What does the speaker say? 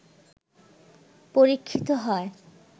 পরীক্ষিত হয়